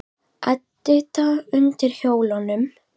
Edita undir hjólunum.